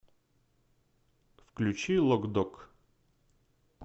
включи лок дог